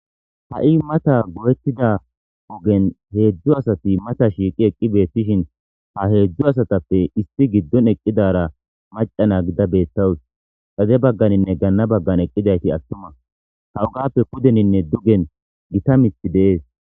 ha7i mata go7ettida ogen heedzdzu asati mata shiiqi eqqi beettishin ha heedzdzu asatappe issi giddon eqqidara maca na gida beettawus xade bagganinne ganna baggan eqqidayti attuma hawugappe kudeninne dugen gita mithi deees